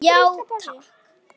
Já takk.